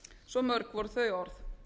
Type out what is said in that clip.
svo mörg voru þau orð